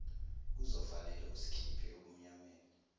kuzofanele usikhiphe ebumnyameni